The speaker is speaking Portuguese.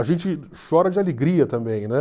A gente chora de alegria também, né?